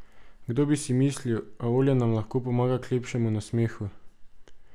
Kdo bi si mislil, a olje nam lahko pomaga k lepšemu nasmehu.